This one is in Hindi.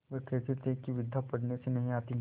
वह कहते थे कि विद्या पढ़ने से नहीं आती